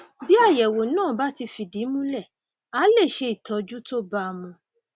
bí àyẹwò náà bá ti fìdí múlẹ a lè ṣe ìtọjú tó bá a mu